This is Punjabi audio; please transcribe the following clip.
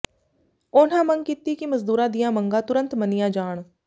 ਉਨ੍ਹਾਂ ਮੰਗ ਕੀਤੀ ਕਿ ਮਜ਼ਦੂਰਾਂ ਦੀਆਂ ਮੰਗਾਂ ਤੁਰੰਤ ਮੰਨੀਆਂ ਜਾਣ